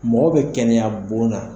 Mɔgɔ bɛ kɛnɛya bon na.